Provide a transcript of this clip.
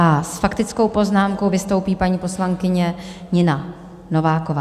A s faktickou poznámkou vystoupí paní poslankyně Nina Nováková.